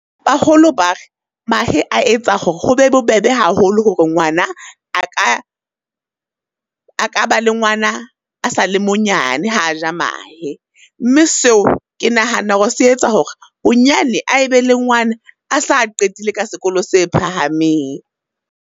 Baholo bare, mahe a etsa hore ho be bobebe haholo hore ngwana a ka, a ka ba le ngwana a sale monyane ha a ja mahe. Mme seo ke nahana hore se etsa hore bonyane a e be le ngwana a sa qetile ka sekolo se phahameng.